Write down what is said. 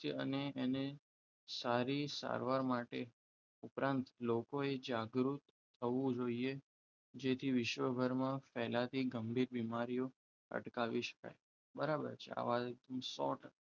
કે એને સારી સારવાર માટે ઉપરાંત લોકોએ જાગૃત થવું જોઈએ જેથી ને વિશ્વભરમાં ફેલાતી ગંભીર બીમારીઓ અટકાવી શકાય બરાબર છે આવા કિસ્સાઓ